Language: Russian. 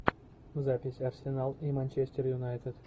запись арсенал и манчестер юнайтед